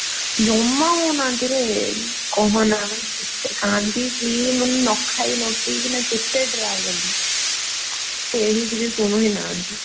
ଜମା ହଉ ନାହାଁନ୍ତିରେ କହନା, ମୁଁ କେତେ କାନ୍ଦିବି ମୁଁ ନ ଖାଇ ନ ପିଇକିନା କେତେ try କଲି। କେହି ଟିକେ ଶୁଣୁ ହିଁ ନାହାନ୍ତି।